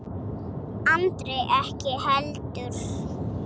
Andri ekki heldur.